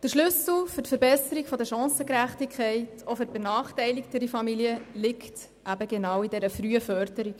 Der Schlüssel zur Verbesserung der Chancengerechtigkeit liegt, auch für benachteiligtere Familien, in der frühen Förderung.